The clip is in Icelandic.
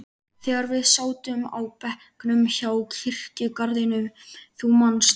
þegar við sátum á bekknum hjá kirkjugarðinum, þú manst.